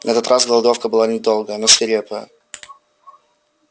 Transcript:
на этот раз голодовка была недолгая но свирепая